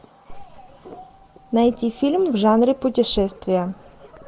найти фильмы в жанре путешествия